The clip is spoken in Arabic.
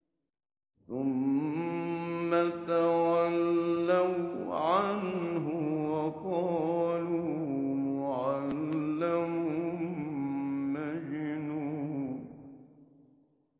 ثُمَّ تَوَلَّوْا عَنْهُ وَقَالُوا مُعَلَّمٌ مَّجْنُونٌ